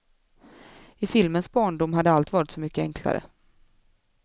I filmens barndom hade allt varit så mycket enklare.